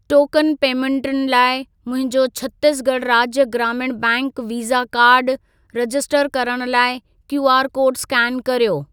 Token पेमेंटुनि लाइ मुंहिंजो छत्तीसगढ़ राज्य ग्रामीण बैंक वीसा कार्ड रजिस्टर करण लाइ क्यूआर कोड स्केन कर्यो।